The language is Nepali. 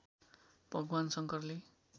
भगवान शंकरले